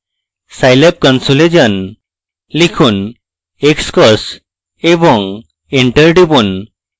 scilab console এ যান লিখুন xcos এবং enter টিপুন